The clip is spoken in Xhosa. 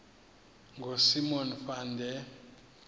ngosimon van der